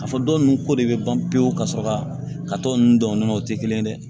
Ka fɔ dɔw nunnu ko de be ban pewu ka sɔrɔ ka tɔ ninnu dɔn o nɔnɔw tɛ kelen ye dɛ